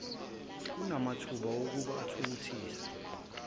kunamathuba okuba uthuthukiswe